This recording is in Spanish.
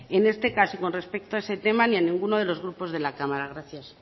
en este caso y con respecto a ese tema ni a ninguno de los grupos de la cámara gracias